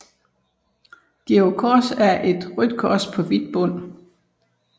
Georgs Kors er et rødt kors på hvid bund